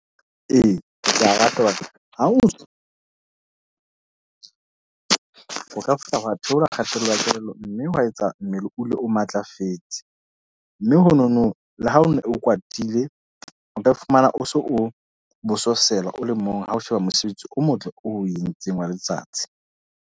Ee, ke a rata ho ka fihla wa theola kgatello ya kelello. Mme wa etsa mmele o dule o matlafetse. Mme ho no no, le ha o no o kwatile, o ka fumana o so o bososela o le mong. Ha o sheba mosebetsi o motle o entseng wa letsatsi.